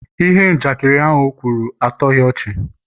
ihe njakịrị o kwuru, atoghị ọchị